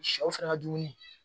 Sɛw fɛnɛ ka dumuni